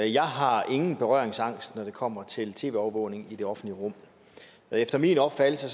jeg har ingen berøringsangst når det kommer til tv overvågning i det offentlige rum og efter min opfattelse